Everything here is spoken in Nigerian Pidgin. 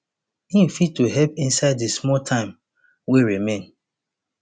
im fit to help inside di small time wey remain